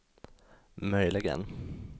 möjligen